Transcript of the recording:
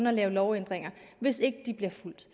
at lave lovændringer hvis ikke de bliver fulgt